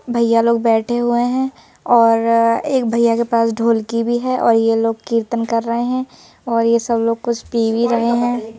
भैया लोग बैठे हुए हैं और एक भैया के पास ढोलकी भी है और यह लोग कीर्तन कर रहे हैं और यह सब लोग कुछ पी भी रहे हैं।